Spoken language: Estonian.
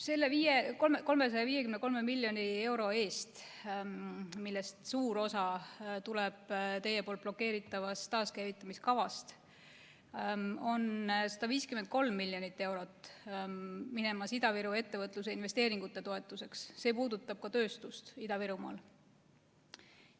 Selle 353 miljoni euro eest, millest suur osa tuleb teie blokeeritavast taaskäivitamiskavast, on 153 miljonit eurot minemas Ida-Viru ettevõtluse investeeringute toetuseks ja see puudutab ka tööstust Ida-Virumaal.